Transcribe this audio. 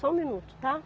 Só um minuto, tá?